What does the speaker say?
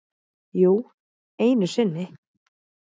Jú, einu sinni.